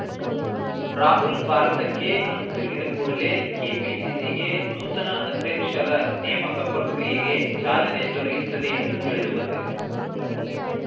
ರಾಹುಲ್‌ ಭಾರತಕ್ಕೆ ಹಿಂತಿರುಗಿದ ಕೂಡಲೇ ಕೆಪಿಸಿಸಿಗೆ ನೂತನ ಅಧ್ಯಕ್ಷರ ನೇಮಕ ಪ್ರಕ್ರಿಯೆಗೆ ಚಾಲನೆ ದೊರೆಯುತ್ತದೆ ಎಂದು ತಿಳಿದುಬಂದಿದೆ